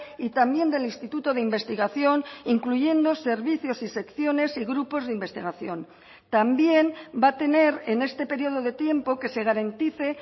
y también del instituto de investigación incluyendo servicios y secciones y grupos de investigación también va a tener en este periodo de tiempo que se garantice